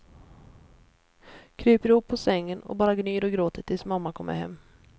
Kryper ihop på sängen och bara gnyr och gråter tills mamma kommer hem.